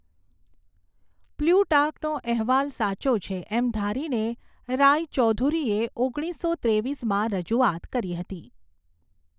પ્લૂટાર્કનો અહેવાલ સાચો છે એમ ધારીને, રાયચૌધુરીએ ઓગણીસો ત્રેવીસમાં રજૂઆત કરી હતી.